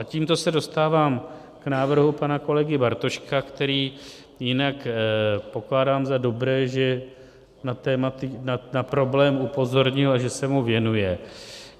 A tímto se dostávám k návrhu pana kolegy Bartoška, který jinak pokládám za dobré, že na problém upozornil a že se mu věnuje.